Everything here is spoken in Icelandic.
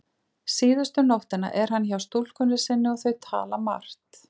Síðustu nóttina er hann hjá stúlkunni sinni og þau tala margt.